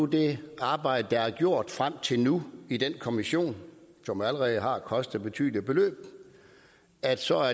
det arbejde der er gjort frem til nu i den kommission som allerede har kostet betydelige beløb altså